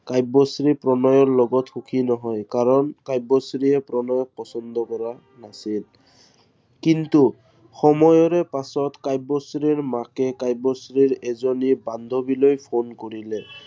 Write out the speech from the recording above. কাব্যশ্ৰী প্ৰণয়ৰ লগত সুখী নহয়। কাৰন কাব্যশ্ৰীয়ে প্ৰণয়ক পচন্দ কৰা নাছিল। কিছু সময়ৰ পিছত কাব্যশ্ৰীৰ মাকে কাব্যশ্ৰীৰ এজনী বান্ধৱীলৈ phone কৰিলে।